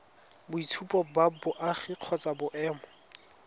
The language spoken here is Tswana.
boitshupo ba boagi kgotsa boemo